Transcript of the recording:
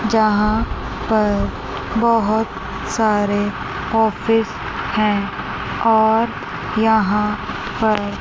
जहां पर बहोत सारे ऑफिस हैं और यहां पर--